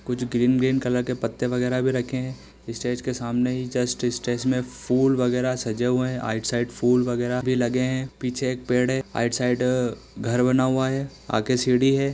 कुछ green - green colour के पत्ते वगैरह भी रखे हैं स्टेज के सामने ही जस्ट स्टेज में फूल वगैरह सजे हुए हैं आइट साइड फूल वगैरह भी लगे हैं पीछे एक पेड़ है आइट साइड घर बना हुआ है आगे सीढ़ी हैं।